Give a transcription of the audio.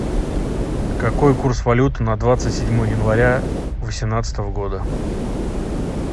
какой курс валюты на двадцать седьмое января восемнадцатого года